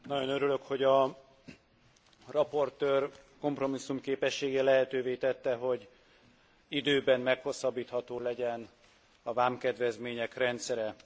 Nagyon örülök, hogy az előadó kompromisszumképessége lehetővé tette, hogy időben meghosszabbítható legyen a vámkedvezmények rendszere.